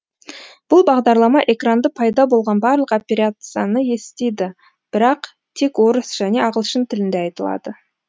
бұл бағдарлама экранда пайда болған барлық операцияны естиді бірақ тек орыс және ағылшын тілінде айтылады